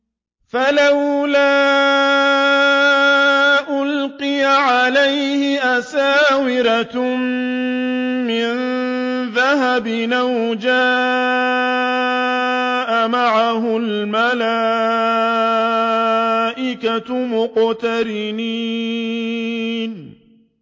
فَلَوْلَا أُلْقِيَ عَلَيْهِ أَسْوِرَةٌ مِّن ذَهَبٍ أَوْ جَاءَ مَعَهُ الْمَلَائِكَةُ مُقْتَرِنِينَ